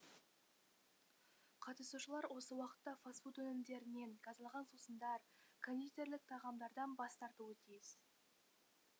қатысушылар осы уақытта фасфуд өнімдерінен газдалған сусындар кондитерлік тағамдардан бас тартуы тиіс